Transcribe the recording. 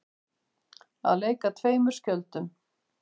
Að leika tveimur skjöldum